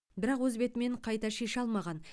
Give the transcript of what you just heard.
бірақ өз бетімен қайта шеше алмаған